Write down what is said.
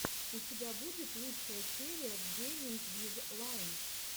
у тебя будет лучшая серия гейминг виз лайн